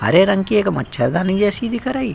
हरे रंग की एक मच्छरदानी जैसी दिख रही।